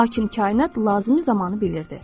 Lakin kainat lazımi zamanı bilirdi.